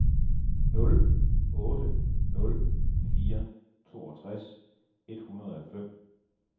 nul otte nul fire toogtres et hundrede og fem